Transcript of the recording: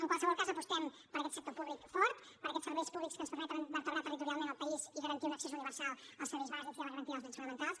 en qualsevol cas apostem per aquest sector públic fort per aquests serveis públics que ens permeten vertebrar territorialment el país i garantir un accés universal als serveis bàsics i a la garantia dels drets fonamentals